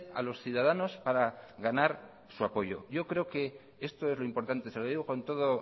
a los ciudadanos para ganar su apoyo yo creo que esto es lo importante se lo digo con todo